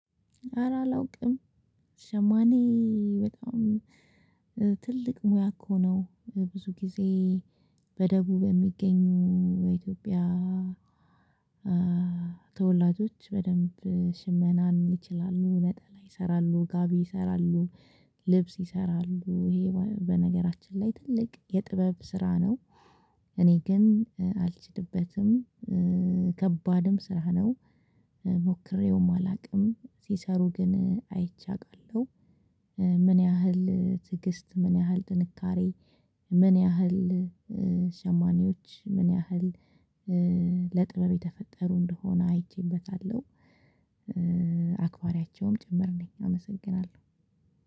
አረ አላውቅም ሸማኔ በጣም ትልቅ ሙያ እኮ ነው ብዙ ጊዜ በደቡብ የሚገኙ በኢትዮጵያ ተወላጆች በደንብ ሽመናን ይችላሉ ነጠላ ይሰራሉ ጋቢ ይሰራሉ ልብስ ይሰራሉ ይሄ በነገራችን ላይ ትልቅ የጥበብ ስራ ነው። እኔ ግን አልችልበትም። ከባድም ስራ ነው። ሞክሬውም አላቅም ሲሰሩ ግን አይቼ አውቃለሁ። ምን ያህል ትዕግስት ምን ያህል ጥንካሬ ምን ያህል ሸማኔዎች ምን ያህል ለጥበብ የተፈጠሩ እንደሆነ አይቼበታለሁ። አክባሪያቸውም ጭምር ነኝ አመሰግናለሁ